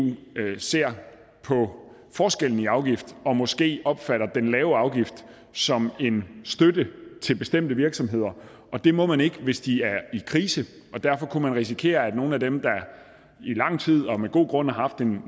ser på forskellen i afgift og måske opfatter den lave afgift som en støtte til bestemte virksomheder og det må man ikke hvis de er i krise derfor kunne man risikere at nogle af dem der i lang tid og med god grund har haft en